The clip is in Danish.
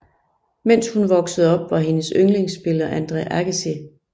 Mens hun voksede op var hendes yndlingsspiller Andre Agassi